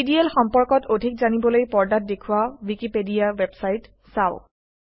DDL সম্পৰ্কত অধিক জানিবলৈ পৰ্দাত দেখুওৱা ৱিকিপেডিয়া ৱেবচাইট চাওক